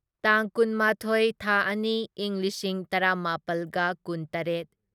ꯇꯥꯡ ꯀꯨꯟꯃꯥꯊꯣꯢ ꯊꯥ ꯑꯅꯤ ꯢꯪ ꯂꯤꯁꯤꯡ ꯇꯔꯥꯃꯥꯄꯜꯒ ꯀꯨꯟꯇꯔꯦꯠ